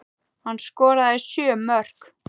Hann skoraði sjö mörk.